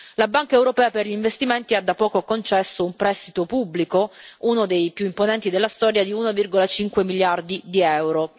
La Banca europea per gli investimenti ha da poco concesso un prestito pubblico, uno dei più imponenti della storia, di 1,5 miliardi di EUR.